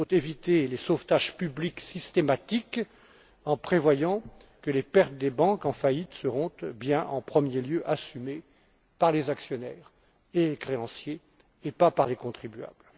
Il faut éviter les sauvetages publics systématiques, en prévoyant que les pertes des banques en faillite soient bien en premier lieu assumées par les actionnaires et les créanciers, et pas par les contribuables.